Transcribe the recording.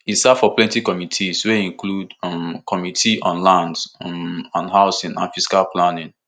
e serve for plenty committees wey include um committee on on lands um and housing and physical planning